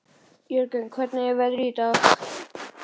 Jörgen, hvernig er veðrið í dag?